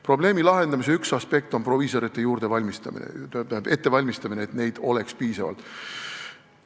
Probleemi lahendamise üks aspekt on proviisorite ettevalmistamine, et neid oleks piisavalt.